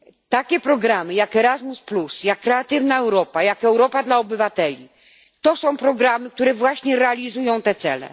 Takie programy jak Erasmus, jak Kreatywna Europa, jak Europa dla Obywateli, to są programy, które właśnie realizują te cele.